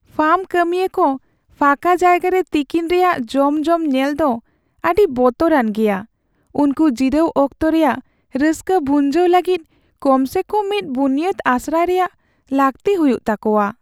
Farm ᱠᱟᱹᱢᱤᱭᱟᱹ ᱠᱚ ᱯᱷᱟᱠᱟ ᱡᱟᱭᱜᱟᱨᱮ ᱛᱤᱠᱤᱱ ᱨᱮᱭᱟᱜ ᱡᱚᱢ ᱡᱚᱢ ᱧᱮᱞᱫᱚ ᱟᱹᱰᱤ ᱵᱚᱛᱚᱨᱟᱱ ᱜᱮᱭᱟ ᱾ ᱩᱱᱠᱚ ᱡᱤᱨᱟᱹᱣ ᱚᱠᱛᱚ ᱨᱮᱭᱟᱜ ᱨᱟᱹᱥᱠᱟᱹ ᱵᱷᱩᱸᱟᱹᱣ ᱞᱟᱹᱜᱤᱫ ᱠᱚᱢ ᱥᱮ ᱠᱚᱢ ᱢᱤᱫ ᱵᱩᱱᱤᱭᱟᱹᱫ ᱟᱥᱨᱟᱭ ᱨᱮᱭᱟᱜ ᱞᱟᱹᱠᱛᱤ ᱦᱩᱭᱩᱜ ᱛᱟᱠᱚᱣᱟ ᱾